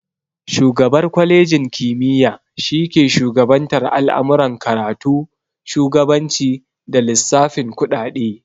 Shugabar kwalenji kimiya shi ke shugabantar al'amuran karatu, shugabanci, da lissafin kuɗaɗe